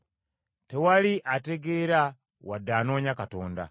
Tewali ategeera wadde anoonya Katonda.